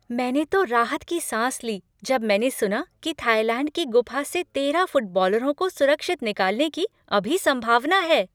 मैंने तो राहत की सांस ली जब मैंने सुना कि थाईलैंड की गुफा से तेरह फुटबॉलरों को सुरक्षित निकालने की अभी संभावना है।